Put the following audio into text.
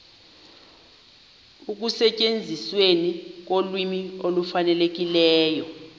ekusetyenzisweni kolwimi olufanelekileyo